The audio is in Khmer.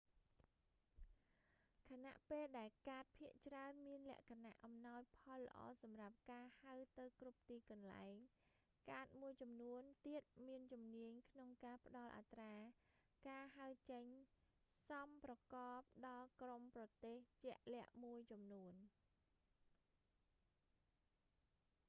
ខណៈពេលដែលកាតភាគច្រើនមានលក្ខណៈអំណោយផលល្អសម្រាប់ការហៅទៅគ្រប់ទីកន្លែង កាតមួយចំនួនទៀតមានជំនាញក្នុងការផ្តល់អត្រាការហៅចេញសមប្រកបដល់ក្រុមប្រទេសជាក់លាក់មួយចំនួន